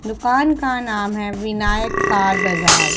दुकान का नाम है विनायक कार बाजार--